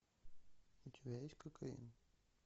у тебя есть кокаин